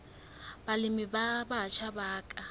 balemi ba batjha ba ka